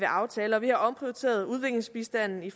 aftaler og vi har omprioriteret udviklingsbistanden i